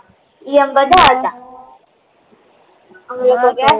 ઈ હંમે બધ્ધા હતા અમે લોકો ગ્યાતા